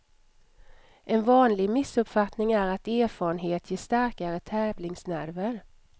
En vanlig missuppfattning är att erfarenhet ger starkare tävlingsnerver.